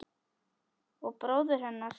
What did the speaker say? Og bróður hennar.